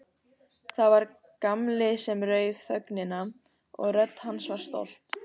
Það var Gamli sem rauf þögnina og rödd hans var stolt.